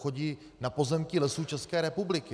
Chodí na pozemky Lesů České republiky.